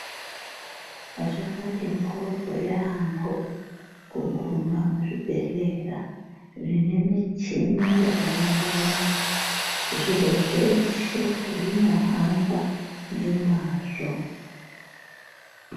Zvakati mboryo yambo kunguma muzvibhehlera zvine muchini yakawanda wanda zviro zveshe zvinohamba ngemwazvo.